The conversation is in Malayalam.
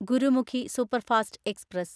Gurmukhi superfast express